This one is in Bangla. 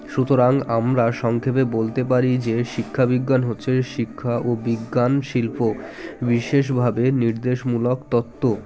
সুতরাং আমরা সংক্ষেপে বলতে পারি যে শিক্ষাবিজ্ঞান হচ্ছে শিক্ষা ও বিজ্ঞান শিল্প বিশেষ ভাবে নির্দেশমূলক তত্ত্ব